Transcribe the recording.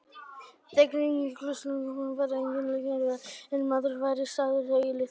Þegar inní klausturgarðinn kom var engu líkara en maður væri staddur í litlu þorpi.